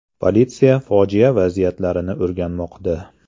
Politsiya fojia vaziyatlarini o‘rganmoqda.